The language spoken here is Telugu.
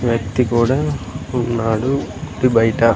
వ్యక్తి కూడా ఉన్నాడు ఇంటి బయట.